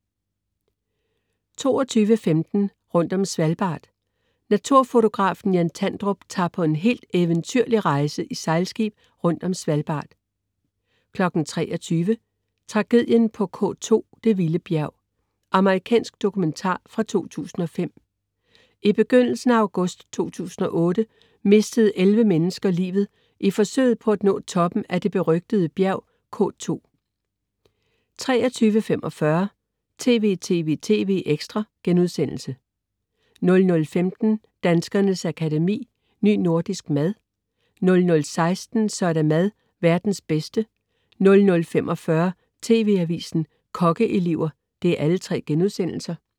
22.15 Rundt om Svalbard. Naturfotografen Jan Tandrup tager på en helt eventyrlig rejse i sejlskib rundt om Svalbard 23.00 Tragedien på K2, det vilde bjerg. Amerikansk dokumentar fra 2005. I begyndelsen af august 2008 mistede elleve mennesker livet i forsøget på at nå toppen af det berygtede bjerg K2 23.45 TV!TV!TV! ekstra* 00.15 Danskernes Akademi: Ny nordisk mad* 00.16 Så er der mad - verdens bedste* 00.45 TV Avisen, Kokkeelever*